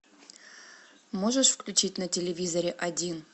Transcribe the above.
можешь включить на телевизоре один